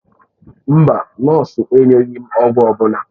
Mba, nọọsụ enyeghị m ọgwụ ọ bụla.